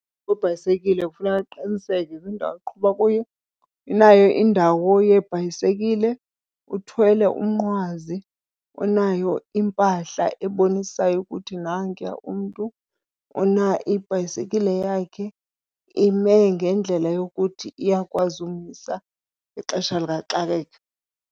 Webhayisekile kufuneka aqiniseke kwindawo aqhuba kuyo inayo indawo yeebhayisekile, uthwele umnqwazi, unayo impahla ebonisayo ukuthi nankuya umntu. Ibhayisekile yakhe ime ngendlela yokuthi iyakwazi umisa ngexesha likaxakeka.